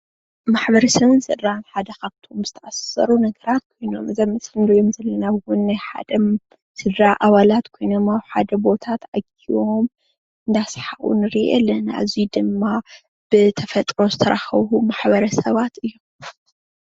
ማሕበረሰብን ስድራን ሓደ ካብቶም ዝተአሳሰሩ ነገራት እዮም እዚ አብ ምስሊ እንሪኦ ዘለና እውን ናይ ሓደ ስድራ አባላት ኮይኖም አብ ሓደ ቦታ ተአኪቦም እናሰሓቁ ንርኢ አለና እዙይ ድማ ብተፈጥሮ ዝተራከቡ ማሕበረሰባት እዮም።